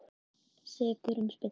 Sekur um spillingu